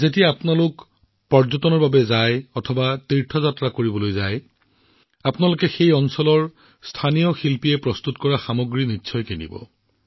যেতিয়াই আপোনালোক পৰ্যটন বা তীৰ্থযাত্ৰালৈ যায় তেতিয়াই তাত স্থানীয় শিল্পীসকলে নিৰ্মাণ কৰা সামগ্ৰীসমূহ ক্ৰয় কৰিব